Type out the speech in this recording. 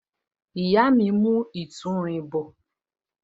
Ìyá mi ń mu ìtúrin bọ